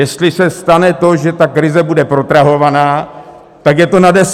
Jestli se stane to, že ta krize bude protrahovaná, tak je to na deset let!